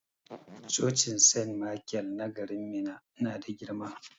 Cocin sent maikel na garin Minna na da girma.